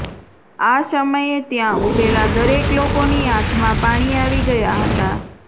આ સમયે ત્યાં ઉભેલા દરેક લોકોની આંખમાં પાણી આવી ગયા હતા